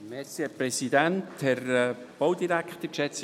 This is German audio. Herr Mentha, Sie haben das Wort.